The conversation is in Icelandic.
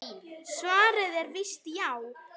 Svarið er víst já.